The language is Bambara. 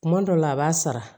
Kuma dɔw la a b'a sara